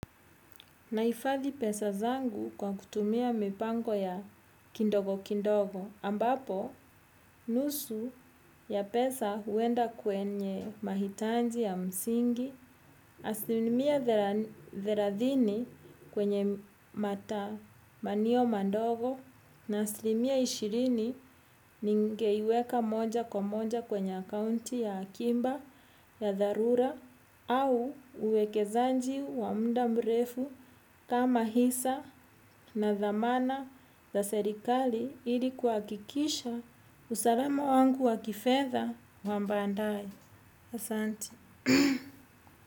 Nahifadhi pesa zangu kwa kutumia mipango ya kindogo kindogo, ambapo nusu ya pesa huenda kwenye mahitanji ya msingi, aslimia thelathini kwenye matamanio mandogo na aslimia ishirini ningeiweka moja kwa moja kwenye accounti ya akiba ya dharura au uwekezanji wa mda mrefu kama hisa na thamana za serikali ili kuhakikisha usalama wangu wa kifedha wa baadaye. Asanti.